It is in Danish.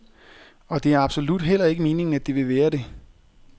Og det er absolut heller ikke meningen, at det vil være det.